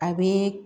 A bɛ